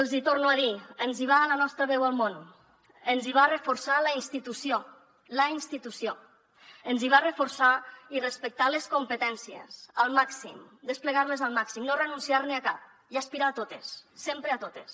els hi torno a dir ens hi va la nostra veu al món ens hi va reforçar la institució la institució ens hi va reforçar i respectar les competències al màxim desplegar les al màxim no renunciar a cap i aspirar a totes sempre a totes